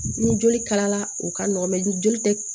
Ni joli kalala o ka nɔgɔn ni joli tɛ